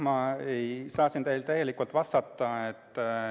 Ma ei saa teile täielikult vastata.